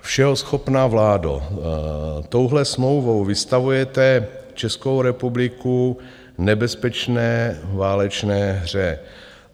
Všeho schopná vládo, touhle smlouvou vystavujete Českou republiku nebezpečné válečné hře.